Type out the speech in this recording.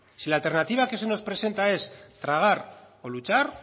si la alternativa que se nos presenta es tragar o luchar